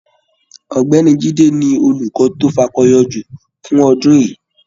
Ọ̀gbẹ́ni Jide ni olukọ to fakọyọ jù fún ọdún yìí.